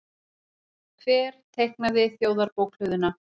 Hver teiknaði Þjóðarbókhlöðuna?